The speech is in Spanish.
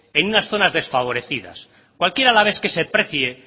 en unas zonas desfavorecidas cualquier alavés que se precie